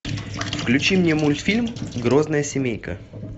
включи мне мультфильм грозная семейка